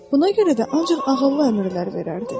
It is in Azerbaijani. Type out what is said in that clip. Buna görə də ancaq ağıllı əmrlər verərdi.